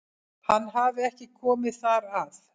Hann hafi ekki komið þar að